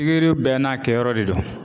Pigiri bɛɛ n'a kɛyɔrɔ de don